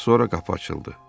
Az sonra qapı açıldı.